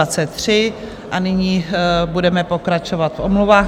A nyní budeme pokračovat v omluvách.